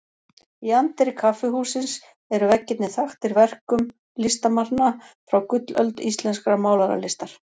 Í anddyri kaffihússins eru veggirnir þaktir verkum listamanna frá gullöld íslenskrar málaralistar.